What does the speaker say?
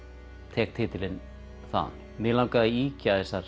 tek titilinn þaðan mig langaði að ýkja þessar